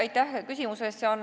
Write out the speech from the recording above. Aitäh küsimuse eest!